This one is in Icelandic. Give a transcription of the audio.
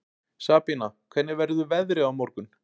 Sabína, hvernig verður veðrið á morgun?